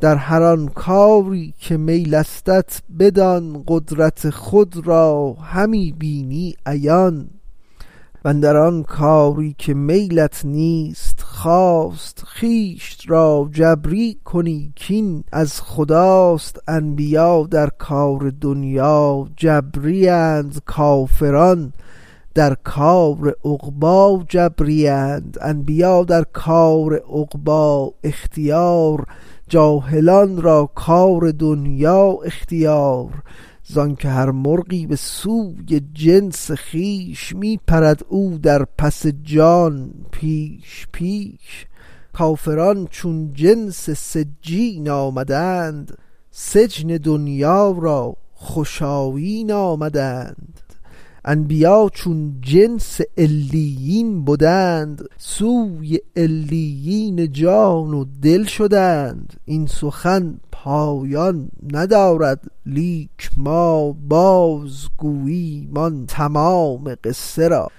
در هر آن کاری که میلستت بدان قدرت خود را همی بینی عیان واندر آن کاری که میلت نیست و خواست خویش را جبری کنی کین از خداست انبیا در کار دنیا جبری اند کافران در کار عقبی جبری اند انبیا را کار عقبی اختیار جاهلان را کار دنیا اختیار زانک هر مرغی به سوی جنس خویش می پرد او در پس و جان پیش پیش کافران چون جنس سجین آمدند سجن دنیا را خوش آیین آمدند انبیا چون جنس علیین بدند سوی علیین جان و دل شدند این سخن پایان ندارد لیک ما باز گوییم آن تمام قصه را